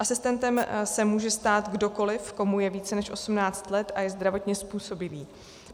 Asistentem se může stát kdokoliv, komu je více než 18 let a je zdravotně způsobilý.